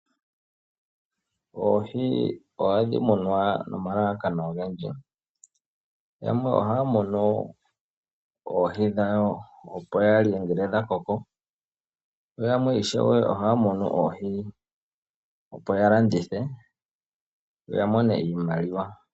Oohi oha dhi munwa nomalalakano ogendji, yamwe oha ya munu oohi dhawo opo ya lye ngele dha koko, yo yamwe ishewe oha ya munu oohi opo ya landithe ya mone iimaliwa.